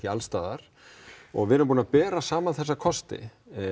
alls staðar og við erum búin að bera saman þessa kosti